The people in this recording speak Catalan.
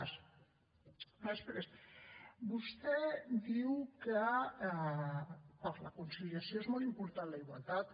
després vostè diu que per a la conciliació és molt important la igualtat